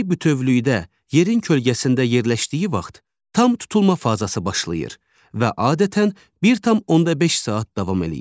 Ay bütövlükdə yerin kölgəsində yerləşdiyi vaxt tam tutulma fazası başlayır və adətən 1.5 saat davam eləyir.